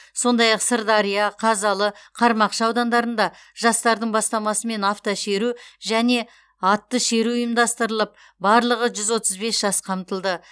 сондай ақ сырдария қазалы қармақшы аудандарында жастардың бастамасымен автошеру және атты шеру ұйымдастырылып барлығы жүз отыз бес жас қамтылды